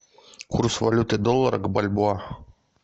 курс валюты доллара к бальбоа